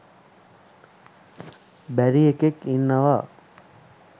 බැරි එකෙක් ඉන්නවා.